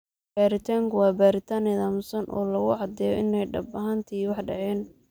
Baaritaanku waa baaritaan nidaamsan oo lagu caddeeyo in ay dhab ahaantii wax dhaceen.